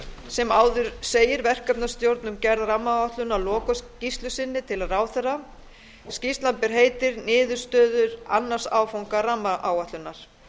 sem áður segir verkefnastjórn um gerð rammaáætlunar lokaskýrslu sinni til ráðherra skýrslan ber heitið niðurstöður annars áfanga rammaáætlunar